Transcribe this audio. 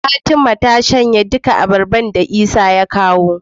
Fatima ta shanye duka abarbar da isa ya kawo